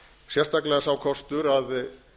sérstaklega sá kostur að